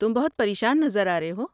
تم بہت پریشان نظر آ رہے ہو۔